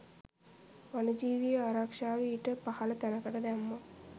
වනජීවී ආරක්‍ෂාව ඊට පහළ තැනකට දැම්මොත්